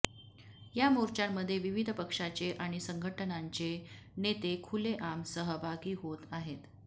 या मोर्चांमधे विविध पक्षाचे आणि संघटनांचे नेते खुलेआम सहभागी होत आहेत